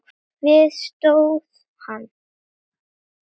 Við það stóð hann.